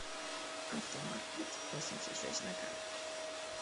автомаркетвосемьдесятшесть на карте